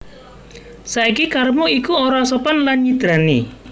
Saiki karepmu iku ora sopan lan nyidrani